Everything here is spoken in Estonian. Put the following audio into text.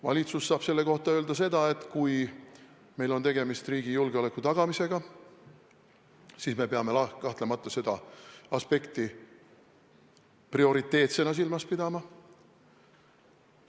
Valitsus saab selle kohta öelda seda, et kui meil on tegemist riigi julgeoleku tagamisega, siis me peame kahtlemata seda aspekti prioriteetsena silmas pidama.